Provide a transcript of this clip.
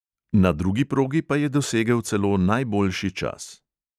Na drugi progi pa je dosegel celo najboljši čas.